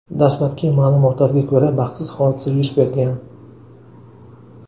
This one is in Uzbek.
Dastlabki ma’lumotlarga ko‘ra, baxtsiz hodisa yuz bergan.